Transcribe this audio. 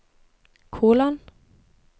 kolon